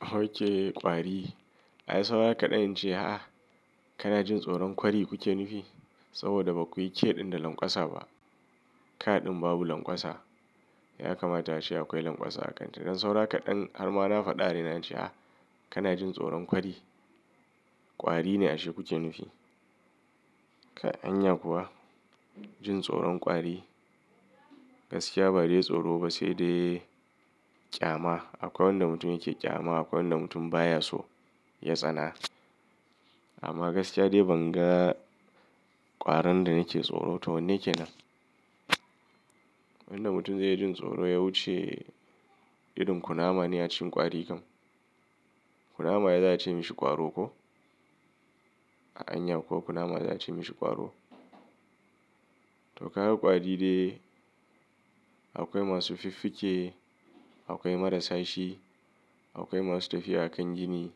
Ok kwari. Ai saura kaɗan in ce a'a, kana jin tsoron kwari kuke nufi? Saboda baku yi ke ɗin da lanƙwasa ba. Ka ɗin babu lanƙwasa ya kamata ashe akwai lanƙwasa a kanta. Don saura kaɗan har ma na faɗa da ni ace, a kana jin tsoron kwari. Kwari ne ashe kuke nufi. Anya kuwa jin tsoron kwari gaskiya ba dai tsoro ba sai dai ƙyama. Akwai wanda mutum yake ƙyama, akwai wanda mutum baya so ya tsana. Amma gaskiya dai ban ga ƙwaron da nake tsoro to wanne kenan. Wanda mutum zai jin tsoro ya wuce irin kunama ne ya ci ƙwari kam. Kunama ya za ya ce mishi ƙwaro ko? Anya ko kunama za ya ci mishi ƙwaro. To ka ga ƙwari dai akwai masu fiffike, akwai marasa shi, akwai masu tafiya a kan gini,